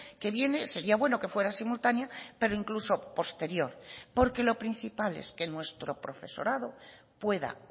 que viene sería bueno que fuera simultánea pero incluso posterior porque lo principal es que nuestro profesorado pueda